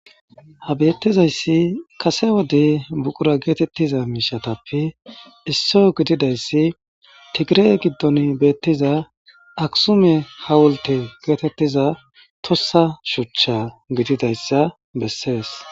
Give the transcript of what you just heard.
Ha bettizayssi kase wode buuqura getettizayttappe isso gididayssi Tigire giddon beettiza akisume hawulte getettiza toossa shuuchcha gididayssa beesses